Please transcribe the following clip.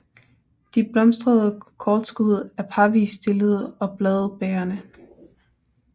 De blomstrende kortskud er parvist stillede og bladbærende